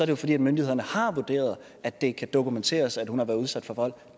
jo fordi myndighederne har vurderet at det kan dokumenteres at hun har været udsat for vold